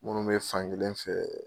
Minnu bɛ fankelen fɛ.